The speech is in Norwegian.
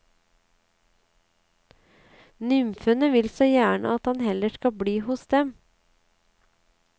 Nymfene vil så gjerne at han heller skal bli hos dem.